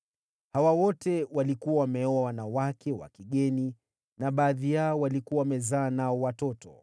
Hawa wote walikuwa wameoa wanawake wa kigeni, na baadhi yao walikuwa wamezaa nao watoto.